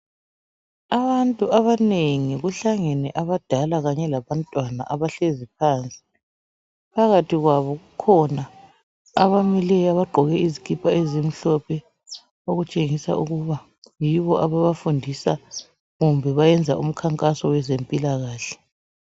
Abantu abanengi kuhlangene abadala kanye labantwana abahlezi phansi phakathi kwabo kukhona abamileyo abagqoke izikipa ezimhlophe okutshengisa ukuba yibo ababafundisa, kumbe bayenza umkhankaso oweze mpilakahle.